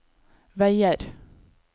veier